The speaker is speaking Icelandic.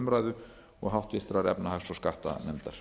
umræðu og háttvirtrar efnahags og skattanefndar